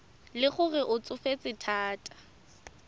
le gore o tsofetse thata